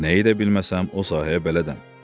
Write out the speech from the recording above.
Nəyi də bilməsəm o sahəyə bələdəm,